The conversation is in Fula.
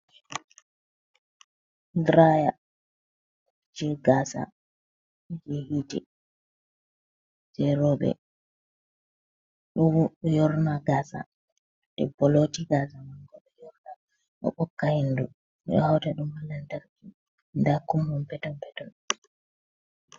Draya , jei gasa , jei yite jei roɓe. Ɗo yorna gasa. Debbo ɗo lota gasa mako ɗo yorna ɗo ɓokka hindu, ɓe ɗo hauta ɗum be landarki nda ɗum peton peton.